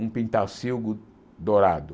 Um pintarcilgo dourado.